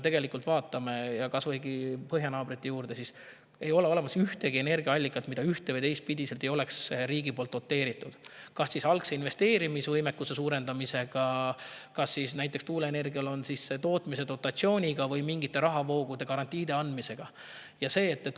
Vaatame kas või põhjanaabreid: ei ole olemas ühtegi energiaallikat, mida ühte- või teistpidi ei oleks riigi poolt doteeritud kas algse investeerimisvõimekuse suurendamisega, näiteks tuuleenergia tootmise dotatsiooniga, või mingite rahavoogude garantiide andmisega.